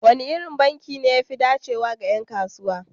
Wane irin asusun banki ne ya fi dacewa ga 'yan kasuwa?